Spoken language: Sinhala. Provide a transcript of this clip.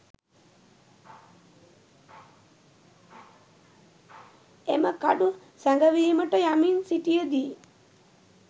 එම කඩු සැඟවීමට යමින් සිටියදී